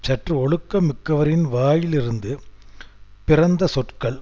சற்று ஒழுக்கம் மிக்கவரின் வாயிலிருந்து பிறந்த சொற்கள்